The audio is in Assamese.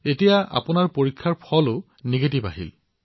এতিয়া আপোনাৰ পৰীক্ষাৰ ফলাফলো নিগেটিভ আহিছে